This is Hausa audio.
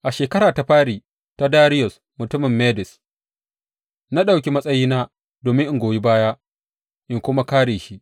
A shekara ta fari ta Dariyus mutumin Mede, na ɗauki matsayina domin in goyi baya in kuma kāre shi.